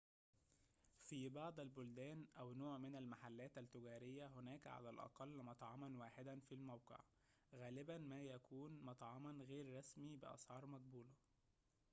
في بعض البلدان أو نوع من المحلات التجارية هناك على الأقل مطعماً واحداً في الموقع غالباً ما يكون مطعماً غير رسمي بأسعار مقبولة